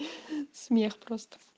смех просто